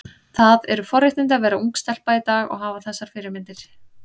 Það eru forréttindi að vera ung stelpa í dag og hafa þessar fyrirmyndir.